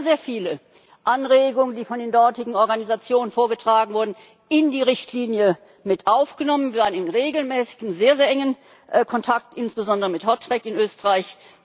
Wir haben sehr, sehr viele Anregungen, die von den dortigen Organisationen vorgetragen wurden, in die Richtlinie aufgenommen, und wir standen regelmäßig in sehr, sehr engen Kontakt, insbesondere mit HOTREC in Österreich.